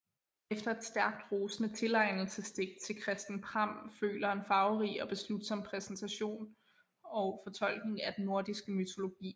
Efter et stærkt rosende tilegnelsesdigt til Christen Pram føler en farverig og beslutsom præsentation og fortolkning af den nordiske mytologi